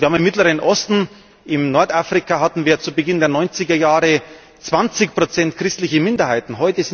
Im Mittleren Osten, in Nordafrika hatten wir zu Beginn der 90er Jahre 20 christliche Minderheiten.